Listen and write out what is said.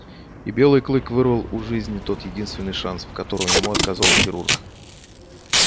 и белый клык вырвал у жизни тот единственный шанс в котором ему отказал хирург